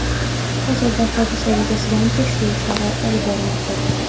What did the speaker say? Hozirda hodisa yuzasidan tekshiruv ishlari olib borilmoqda.